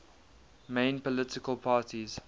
main political parties